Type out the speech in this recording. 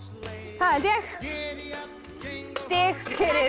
það held ég stig fyrir